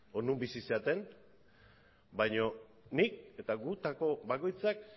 edo non bizi zareten baino nik eta gutako bakoitzak